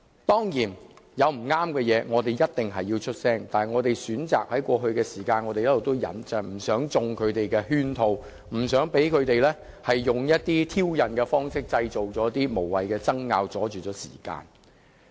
當然，對於不正確的事情，我們必須發聲，但我們在過去一段時間選擇一直忍受，是因為不想中他們的圈套，不想讓他們以挑釁的方式製造無謂的爭拗，拖延時間。